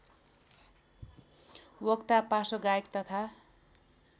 वक्ता पार्श्वगायक तथा